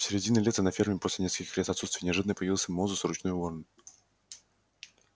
в середине лета на ферме после нескольких лет отсутствия неожиданно появился мозус ручной ворон